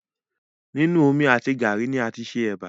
Nínu omi àti gàárì ni a tí ṣe ẹbà